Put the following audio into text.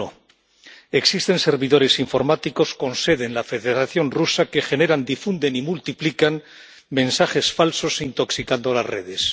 Uno, existen servidores informáticos con sede en la Federación Rusa que generan, difunden y multiplican mensajes falsos, intoxicando las redes.